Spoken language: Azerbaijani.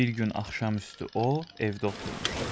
Bir gün axşam üstü o evdə oturmuşdu.